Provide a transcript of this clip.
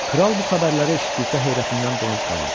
Kral bu xəbərləri eşitdikdə heyrətindən donub qaldı.